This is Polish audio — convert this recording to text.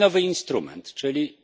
Mamy nowy instrument czyli